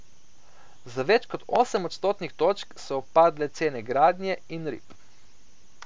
Za več kot osem odstotnih točk so upadle cene gradnje in rib.